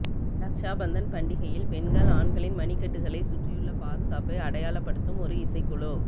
ரக்ஷா பந்தன் பண்டிகையில் பெண்கள் ஆண்களின் மணிகட்டைகளை சுற்றியுள்ள பாதுகாப்பை அடையாளப்படுத்தும் ஒரு இசைக்குழு